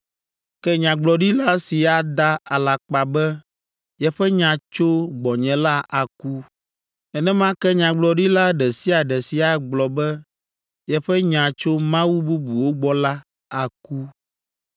Ke nyagblɔɖila si ada alakpa be yeƒe nya tso gbɔnye la aku. Nenema ke nyagblɔɖila ɖe sia ɖe si agblɔ be yeƒe nya tso mawu bubuwo gbɔ la, aku.”